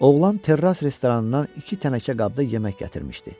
Oğlan terras restoranından iki tənəkə qabda yemək gətirmişdi.